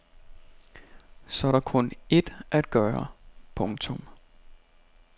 Så er der kun ét at gøre. punktum